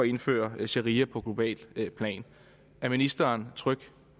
indføre sharia på globalt plan er ministeren tryg